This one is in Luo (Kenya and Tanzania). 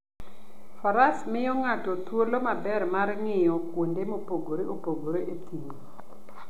Faras miyo ng'ato thuolo maber mar ng'iyo kuonde mopogore opogore e thim.